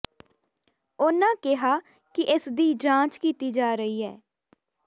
ਉਨ੍ਹਾਂ ਕਿਹਾ ਕਿ ਇਸਦੀ ਜਾਂਚ ਕੀਤੀ ਜਾ ਰਹੀ ਐ